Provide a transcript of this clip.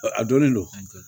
a donnen don